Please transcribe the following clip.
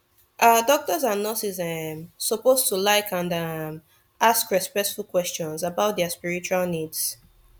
ah doctors and nurses um suppose to like and um ask respectful questions about dia spiritual needs